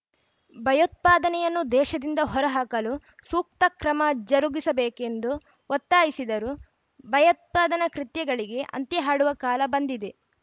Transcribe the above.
ಭಯೋತ್ಪಾದನೆಯನ್ನು ದೇಶದಿಂದ ಹೊರಹಾಕಲು ಸೂಕ್ತ ಕ್ರಮ ಜರುಗಿಸಬೇಕೆಂದು ಒತ್ತಾಯಿಸಿದರು ಭಯೋತ್ಪಾದನ ಕೃತ್ಯಗಳಿಗೆ ಅಂತ್ಯ ಹಾಡುವ ಕಾಲ ಬಂದಿದೆ